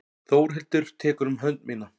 Þórhildur tekur um hönd mína.